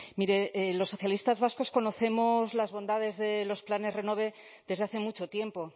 mire los socialistas vascos conocemos las bondades de los planes renove desde hace mucho tiempo